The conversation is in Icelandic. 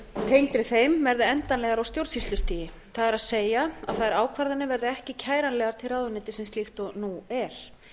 umsýslutengri þeim verði endanlegar á stjórnsýslustigi það er þær ákvarðanir verði ekki kæranlegar til ráðuneytisins líkt og nú er